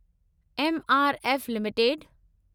MRF limited